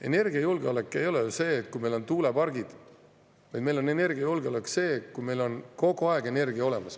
Energiajulgeolek ei ole ju see, kui meil on tuulepargid, vaid energiajulgeolek on see, kui meil on kogu aeg energia olemas.